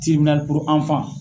Tiibinali